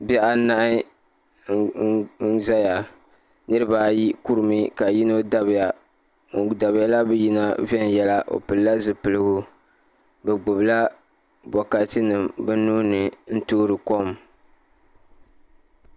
Bihi anahi n ʒɛya niraba ayi kurimi ka yino dabiya ŋun dabiya la bi yin a viɛnyɛla o pilila zipiligu bi gbubila bokati nim bi nuuni n toori kom